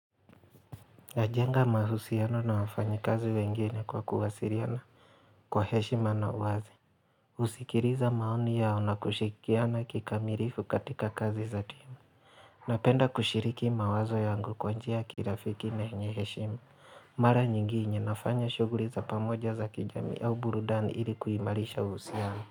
Najenga mahusiano na wafanyi kazi wengine kwa kuwasiliana kwa heshima na uwazi. Husikiliza maoni yao na kushikiana kikamilifu katika kazi za timu. Napenda kushiriki mawazo yangu kwa njia ya kirafiki na yenye heshima. Mara nyingine nafanya shuguli za pamoja za kijamii au burudani ili kuimarisha uhusiano.